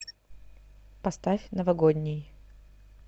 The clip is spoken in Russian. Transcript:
поставь новогодний